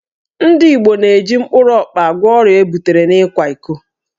Ndị Igbo na-eji mkpụrụ ọkpa agwọ ọrịa ebutere n'ịkwa iko